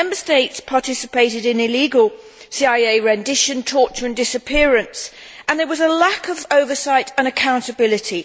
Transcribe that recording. Member States participated in illegal CIA rendition, torture and disappearance, and there was a lack of oversight and accountability.